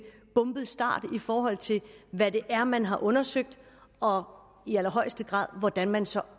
bumpet start i forhold til hvad det er man har undersøgt og i allerhøjeste grad hvordan man så